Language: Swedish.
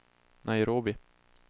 Nairobi